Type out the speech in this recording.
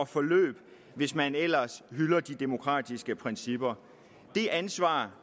forløb hvis man ellers hylder de demokratiske principper det ansvar